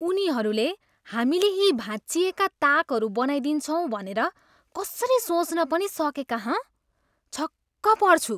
उनीहरूले हामीले यी भाँचिएका ताकहरू बनाइदिन्छौँ भनेर कसरी सोच्न पनि सकेका, हँ? छक्क पर्छु।